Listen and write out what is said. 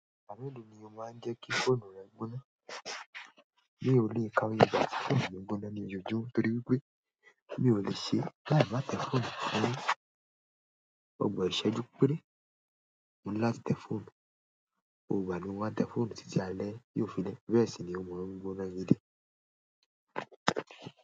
Ìgbà mélòó ni o máa ń jẹ́ kí fóònù rẹ gbóná. Mi o lè kàwé ìgbà tí fóònù mi gbóná ní ojoojúm, torí wípé mi ò le ṣe láì má tẹ fóònù. Òògùn ìsẹ́jú péré máa ń láti tẹ fóònù, ko gba mi wá tẹ fóònù títí alẹ́ yóò fi lẹ́, bẹ́ẹ̀ sì ni ó máa ń gbóná gidi.